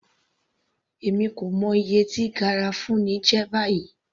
Èmi kò mọ iye tí garafuni jẹ́ báyìí.